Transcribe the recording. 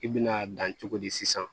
I bi n'a dan cogo di sisan